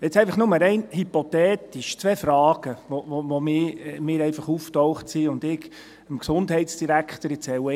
Jetzt einfach nur rein hypothetisch, zwei Fragen, die bei mir aufgetaucht sind und die ich dem Gesundheitsdirektor stellen möchte.